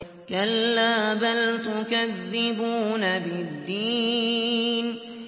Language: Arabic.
كَلَّا بَلْ تُكَذِّبُونَ بِالدِّينِ